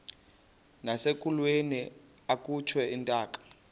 nasekulweni akhutshwe intaka